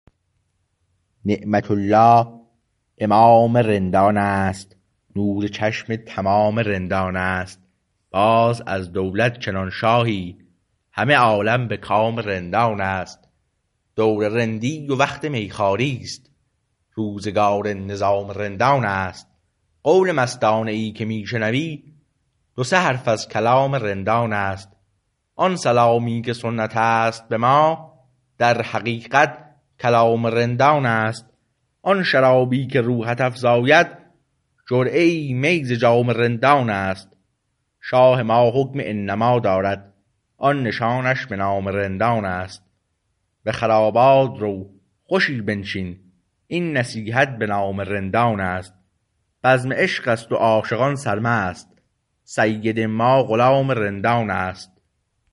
نعمت الله امام رندان است نور چشم تمام رندان است باز از دولت چنان شاهی همه عالم به کام رندان است دور رندی و وقت میخواریست روزگار نظام رندان است قول مستانه ای که میشنوی دو سه حرف از کلام رندان است آن سلامی که سنت است به ما در حقیقت کلام رندان است آن شرابی که روحت افزاید جرعه ای می ز جام رندان است شاه ما حکم انما دارد آن نشانش به نام رندان است به خرابات رو خوشی بنشین این نصیحت به نام رندان است بزم عشقست و عاشقان سرمست سید ما غلام رندان است